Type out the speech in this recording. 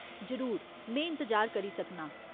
जरूर। में इंतजार करी सकनां।